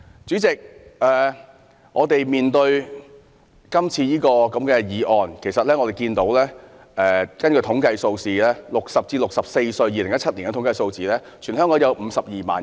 主席，就今次的議案而言，我們看到2017年的統計數字顯示 ，60 至64歲的人士在全港有52萬人。